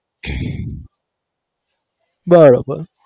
બરાબર